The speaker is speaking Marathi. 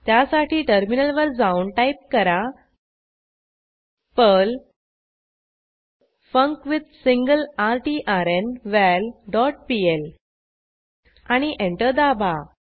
त्यासाठी टर्मिनलवर जाऊन टाईप करा पर्ल फंक्विथसिंगलरट्र्नवल डॉट पीएल आणि एंटर दाबा